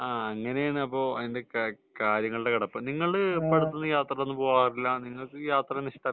അങ്ങനെയാണ് കാര്യങ്ങളുടെ കിടപ്പ് . നിങ്ങൾ യാത്ര ഒന്നും പോവാറില്ലേ നിങ്ങൾക്ക് യാത്രയൊന്നും ഇഷ്ടമല്ലേ